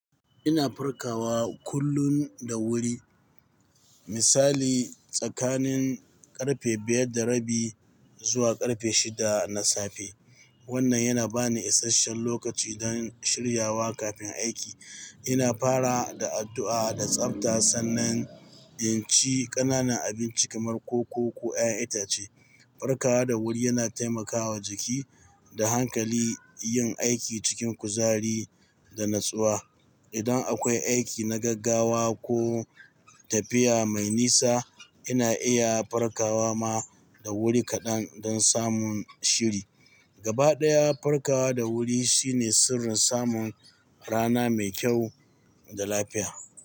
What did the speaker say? Ina farkawa kullum da wuri, misali tsakanin ƙarfe biyar da rabi zuwa ƙarfe shida na safe. Wannan yana ba ni isasshen lokaci don shiryawa kafin aiki. Ina fara da addu'a da tsabta sannan in ci ƙananan abinci kamar koko ko 'ya'yan itace. Farkawa da wuri yana taimaka wa jiki da hankali yin aiki cikin kuzari da natsuwa. Idan akwai aiki na gaggawa ko tafiya mai nisa, ina iya farkawa ma da wuri kaɗan don samun shiri. Gaba ɗaya, farkawa da wuri shine sirrin samun rana mai kyau da lafiya.